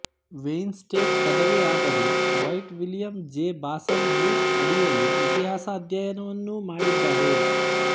Wayne State ಪದವಿ ಆದರೆ ವೈಟ್ ವಿಲಿಯಂ ಜೆ ಬಾಸನ್ ಬ್ರುಕ್ ಅಡಿಯಲ್ಲಿ ಇತಿಹಾಸ ಅಧ್ಯಯನವನ್ನೂ ಮಾಡ್ಡೀದ್ದಾರೇ